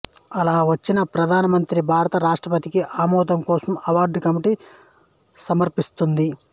అలా వచ్చిన వాటిని ప్రధానమంత్రి భారత రాష్ట్రపతికి ఆమోదం కోసం అవార్డు కమిటీ సమర్పిస్తుంది